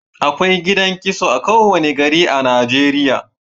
Akwai gidan kitso a kowane gari a Najeriya